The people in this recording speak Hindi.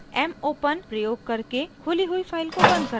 mopen प्रयोग करके खुली हुई फाइल को बंद करता है